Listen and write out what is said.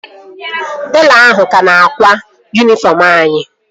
Telọ ahụ ka na-akwa yunifọm anyị